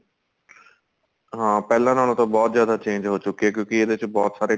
ਹਾਂ ਪਹਿਲਾਂ ਨਾਲੋ ਤਾਂ ਬਹੁਤ ਜਿਆਦਾ change ਹੋ ਚੁਕਿਆ ਕਿਉਂਕਿ ਇਦੇ ਚ ਬਹੁਤ ਸਾਰੇ